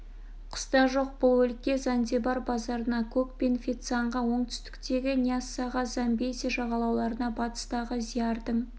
қыстақ жоқ бұл өлке занзибар базарына кук пен феццанға оңтүстіктегі ньяссаға замбези жағалауларына батыстағы заирдың